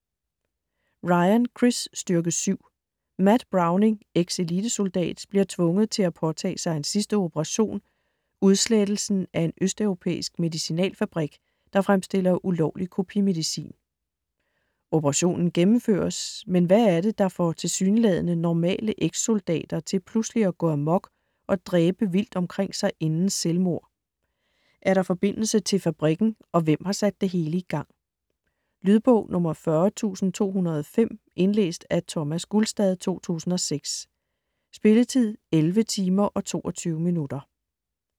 Ryan, Chris: Styrke Syv Matt Browning, eks-elitesoldat, bliver tvunget til at påtage sig en sidste operation, udslettelsen af en østeuropæisk medicinalfabrik, der fremstiller ulovlig kopimedicin. Operationen gennemføres, men hvad er det, der får tilsyneladende normale eks-soldater til pludselig at gå amok og dræbe vildt omkring sig inden selvmord. Er der forbindelse til fabrikken, og hvem har sat det hele i gang? Lydbog 40205 Indlæst af Thomas Gulstad, 2006. Spilletid: 11 timer, 22 minutter.